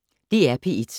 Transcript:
DR P1